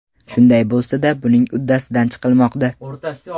Shunday bo‘lsa-da, buning uddasidan chiqilmoqda.